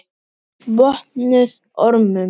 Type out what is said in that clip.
En ferlið sjálft var erfitt?